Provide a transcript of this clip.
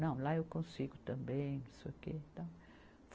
Não, lá eu consigo também. Não sei o quê e tal